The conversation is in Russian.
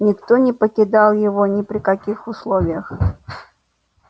никто не покидал его ни при каких условиях